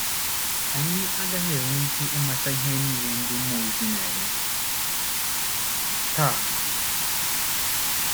Anyị agaghị enwe ike ịmatacha ihe niile ndị mmụọ ozi na - eme taa.